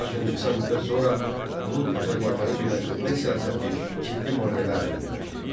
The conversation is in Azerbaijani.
Lakin qısa müddət sonra onun Azərbaycanı birləşdirmək siyasəti ciddi maneələrlə üzləşdi.